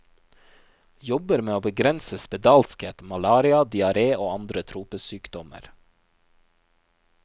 Jobber med å begrense spedalskhet, malaria, diaré og andre tropesykdommer.